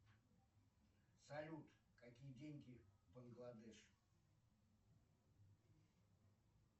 салют какие деньги в бангладеш